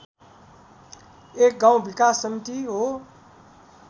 एक गाउँ विकास समिति हो